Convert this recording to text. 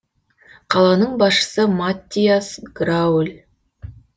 қаланың басшысы маттиас грауль